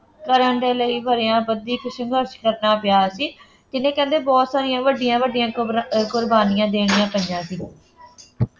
ਕਰਨ ਦੇ ਲਈ ਵਰ੍ਹਿਆਂ ਬੱਝੀ ਇੱਕ ਸੰਘਰਸ਼ ਕਰਨਾ ਪਿਆ ਸੀ ਕਹਿੰਦੇ ਬਹੁੁਤ ਸਾਰੀਆਂ ਵੱਡੀਆਂ ਵੱਡੀਆਂ ਕਬਰਾਂ ਕੁਰਬਾਨੀਆਂ ਦੇਣੀਆਂ ਪਈਆਂ ਸੀ